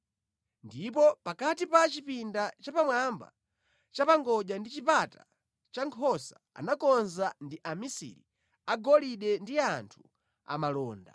Ndipo pakati pa chipinda chapamwamba chapangodya ndi Chipata cha Nkhosa anakonza ndi amisiri a golide ndi anthu amalonda.